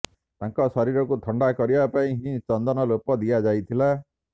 ତାଙ୍କ ଶରୀରକୁ ଥଣ୍ଡା କରିବା ପାଇଁ ହିଁ ଚନ୍ଦନ ଲେପ ଦିଆଯାଇଥିଲା